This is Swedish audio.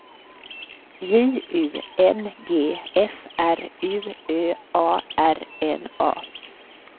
J U N G F R U Ö A R N A